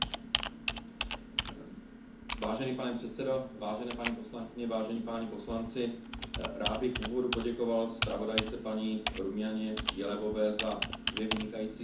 Vážený pane předsedo, vážené paní poslankyně, vážení páni poslanci, rád bych v úvodu poděkoval zpravodajce paní Rumianě Jelevové za dvě vynikající zprávy, které vypracovala.